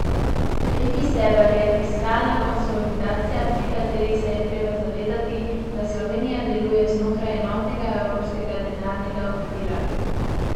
Tretji steber je fiskalna konsolidacija, pri kateri se je treba zavedati, da Slovenija deluje znotraj enotnega evropskega denarnega okvira.